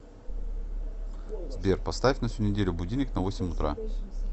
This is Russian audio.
сбер поставь на всю неделю будильник на восемь утра